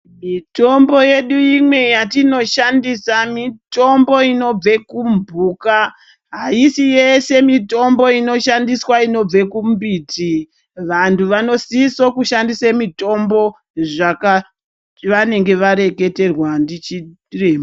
Mitombo yedu imwe yatoshandisa , mitombo inobva kumphuka .Aisi yese mitombo inoshandiswa inobva kumumbiti .Vantu vanosisa kushandisa mitombo zvaka zvavanenge vareketerwa ndichiremba .